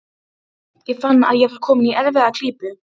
Ég fann að ég var kominn í erfiða klípu.